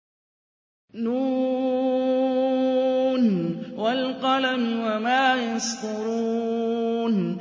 ن ۚ وَالْقَلَمِ وَمَا يَسْطُرُونَ